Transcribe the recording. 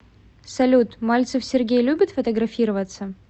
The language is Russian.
салют мальцев сергей любит фотографироваться